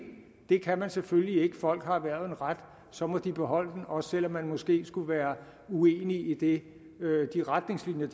det kan man selvfølgelig ikke folk har erhvervet en ret så må de beholde den også selv om man måske skulle være uenig i de retningslinjer